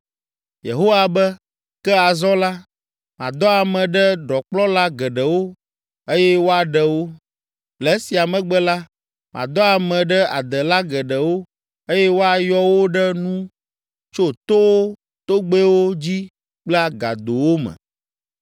“Yehowa be, ‘Ke azɔ la, madɔ ame ɖe ɖɔkplɔla geɖewo eye woaɖe wo. Le esia megbe la, madɔ ame ɖe adela geɖewo eye woayɔ wo ɖe nu tso towo, togbɛwo dzi kple agadowo me.